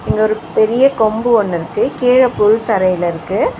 இங்க ஒரு பெரிய கொம்பு ஒன்னு இர்க்கு கீழ புல் தரெல இருக்கு.